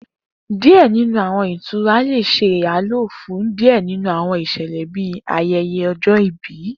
Diẹ ninu Awọn itura le ṣe iyalo fun diẹ ninu awọn iṣẹlẹ bii ayẹyẹ ọjọ-ibi.